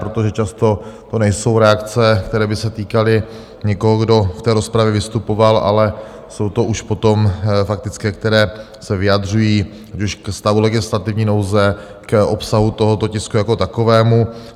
Protože často to nejsou reakce, které by se týkaly někoho, kdo v té rozpravě vystupoval, ale jsou to už potom faktické, které se vyjadřují ať už ke stavu legislativní nouze, k obsahu tohoto tisku jako takovému.